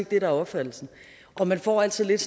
det der er opfattelsen og man får altid lidt